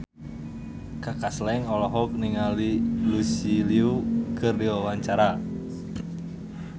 Kaka Slank olohok ningali Lucy Liu keur diwawancara